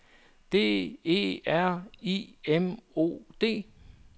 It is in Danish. D E R I M O D